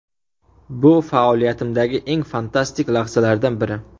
Bu faoliyatimdagi eng fantastik lahzalardan biri.